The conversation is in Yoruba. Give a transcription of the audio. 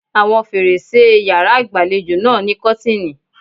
Àwọn fèrèsé e yàrá ìgbàlejò náà ní kọ́tìnì.